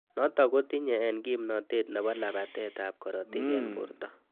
Notok kotinye eng kimnotet nebo labatet ab karotik eng borto.